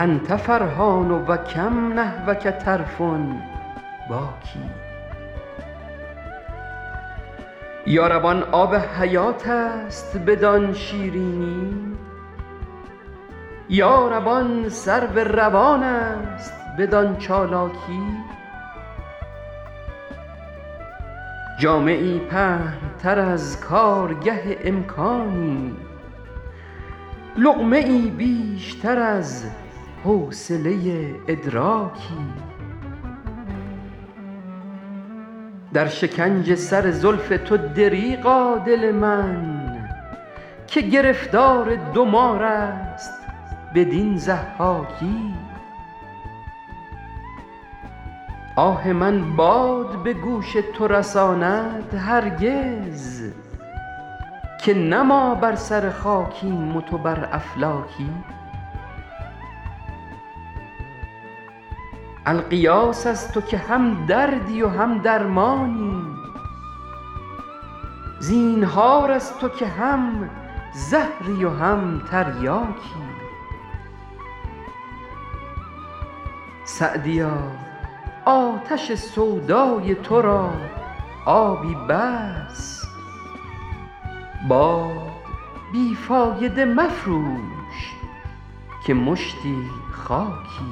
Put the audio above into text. أنت فرحان و کم نحوک طرف باکی یا رب آن آب حیات است بدان شیرینی یا رب آن سرو روان است بدان چالاکی جامه ای پهن تر از کارگه امکانی لقمه ای بیشتر از حوصله ادراکی در شکنج سر زلف تو دریغا دل من که گرفتار دو مار است بدین ضحاکی آه من باد به گوش تو رساند هرگز که نه ما بر سر خاکیم و تو بر افلاکی الغیاث از تو که هم دردی و هم درمانی زینهار از تو که هم زهری و هم تریاکی سعدیا آتش سودای تو را آبی بس باد بی فایده مفروش که مشتی خاکی